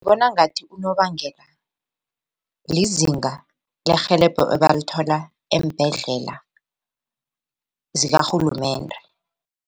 Ngibona ngathi unobangela lizinga lerhelebho ebalithola eembhedlela zikarhulumende.